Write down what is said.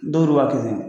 Don do waati